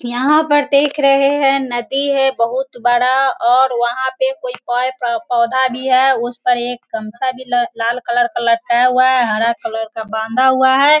यहाँ पर देख रहे है नदी है बहुत बड़ा और वहां पे कोई पेड़ कोई पौधा भी है उस पे एक गमछा भी लाल कलर का लटकाया हुआ है हरा कलर का बांधा हुआ है।